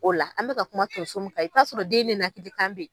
O la an bɛ ka kuma tonso mun kan i bɛ t'a sɔrɔ den nenakili kan bɛ.